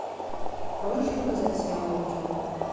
можешь показать сериал волчонок